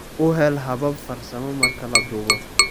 U hel habab farsamo marka la duubo.